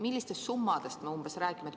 Millistest summadest me räägime?